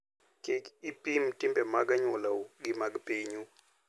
Kik ipim timbe mag anyuolau gi mag pinyu.